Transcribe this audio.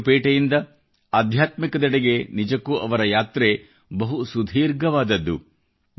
share ಪೇಟೆಯಿಂದ ಆಧ್ಯಾತ್ಮಿಕದೆಡೆಗೆ ನಿಜಕ್ಕೂ ಅವರ ಯಾತ್ರೆ ಬಹು ಸುದೀರ್ಘವಾದದ್ದು